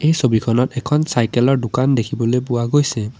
এই ছবিখনত এখন চাইকেল ৰ দোকান দেখিবলৈ পোৱা গৈছে।